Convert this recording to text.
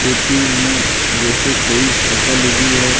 खेती में जैसे कोई फसल उगी है।